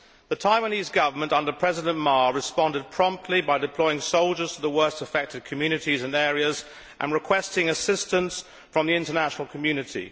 The Taiwanese Government under President Ma responded promptly by deploying soldiers to the worst affected communities and areas, and requesting assistance from the international community.